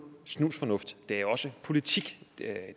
snusfornuft det her er også politik det er